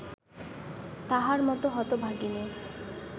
তাহার মত হতভাগিনী